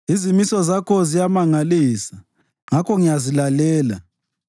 Izimiso zakho ziyamangalisa; ngakho ngiyazilalela.